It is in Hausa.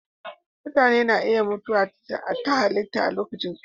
Mutane na iya mutuwa ta halitta a lokacin tsufa.